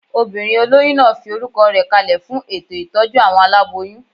Obìnrin olóyún náà fi orúkọ rẹ̀ kalẹ̀ fún ètò ìtọ́jú àwọn aláboyún